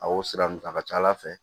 A y'o sira ninnu ta a ka ca ala fɛ